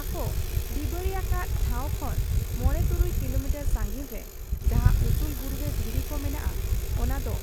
ᱟᱠᱚ ᱰᱤ ᱵᱟᱹᱲᱤ ᱟᱠᱟᱫ ᱴᱷᱟᱶ ᱠᱷᱚᱱ ᱢᱚᱬᱮ ᱛᱩᱨᱩᱭ ᱠᱤᱞᱚᱢᱤᱴᱟᱨ ᱥᱟᱺᱜᱤᱧ ᱨᱮ ᱡᱟᱦᱟᱸ ᱩᱥᱩᱞ ᱵᱩᱨᱩ ᱨᱮ ᱫᱷᱤᱨᱤ ᱠᱚ ᱢᱮᱱᱟᱜ ᱟ, ᱚᱱᱟ ᱫᱚ